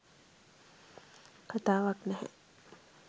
කතාවක් නැහැ